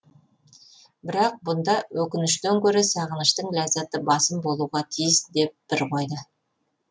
бірақ бұнда өкініштен гөрі сағыныштың ләззаты басым болуға тиіс деп бір қойды